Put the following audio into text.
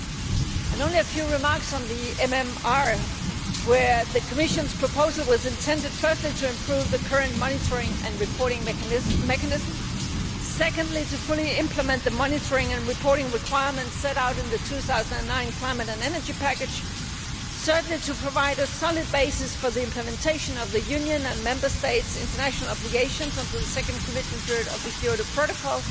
I would like to make a few remarks on the MMR, where the Commission's proposal was intended firstly to improve the current monitoring and reporting mechanism, secondly to fully implement the monitoring and reporting requirements set out in the 2009 climate and energy package, thirdly to provide a solid basis for implementation of the Union and Member States' international obligations until the second commitment period of the Kyoto Protocol,